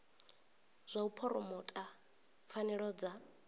zwa u phuromotha pfanelo dza